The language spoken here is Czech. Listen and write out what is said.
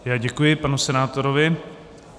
Já děkuji panu senátorovi.